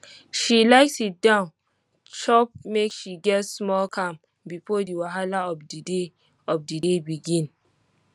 she like siddon chop make she get small calm before the wahala of the day of the day begin